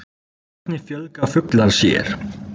Hvernig fjölga fuglar sér?